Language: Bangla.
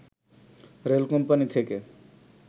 রেল কোম্পানী থেকে